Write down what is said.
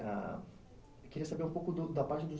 Eu queria saber um pouco do da parte do